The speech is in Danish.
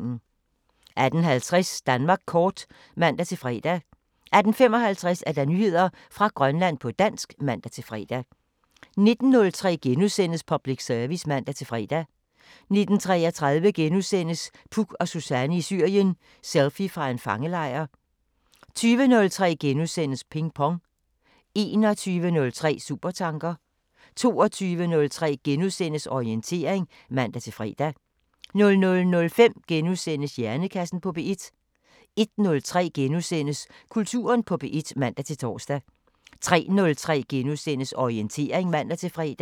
18:50: Danmark kort (man-fre) 18:55: Nyheder fra Grønland på dansk (man-fre) 19:03: Public Service *(man-fre) 19:33: Puk og Suzanne i Syrien: Selfie fra en fangelejr * 20:03: Ping Pong * 21:03: Supertanker 22:03: Orientering *(man-fre) 00:05: Hjernekassen på P1 * 01:03: Kulturen på P1 *(man-tor) 03:03: Orientering *(man-fre)